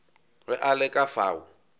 ge a le ka fao